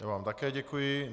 Já vám také děkuji.